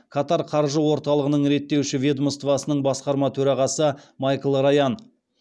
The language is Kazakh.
катар қаржы орталығының реттеуші ведомствосының басқарма төрағасы майкл раян